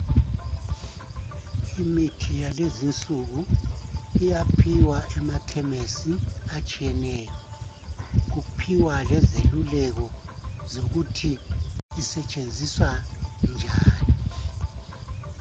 Imithi yakulezinsuku iyaphiwa emakhemesi atshiyeneyo, kuphiwa lezeluleko zokuthi isetshenziswa njani.